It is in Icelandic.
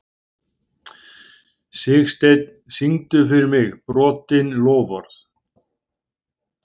Sigsteinn, syngdu fyrir mig „Brotin loforð“.